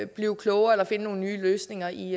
blive klogere eller finde nogle nye løsninger i